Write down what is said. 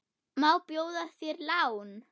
Má bjóða þér lán?